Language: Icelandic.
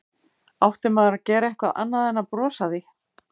Átti maður að gera eitthvað annað en að brosa að því?